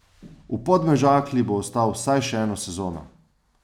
V Podmežakli bo ostal vsaj še eno sezono.